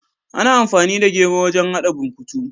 Ana amfani da gero wajen hada burkutu.